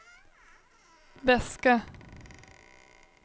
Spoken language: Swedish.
väska